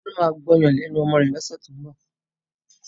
Tolú máa gbọ́yàn lẹ́nu ọmọ rẹ̀ lọ́sẹ̀ tó ń bọ̀.